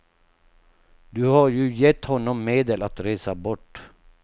Du har ju gett honom medel att resa bort.